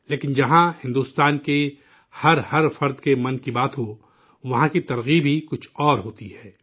لیکن، جہاں بھارت کے ہر شہری کے 'من کی بات' ہو، وہاں کی ترغیب ہی کچھ اور ہوتی ہے